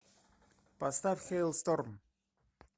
поставь хэйлсторм